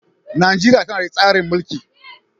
Najeriya tana da tsarin mulki.